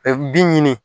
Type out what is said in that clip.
bin ɲini